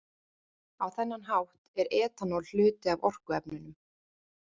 Á þennan hátt er etanól hluti af orkuefnunum.